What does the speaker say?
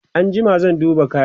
an jima zan duba kayan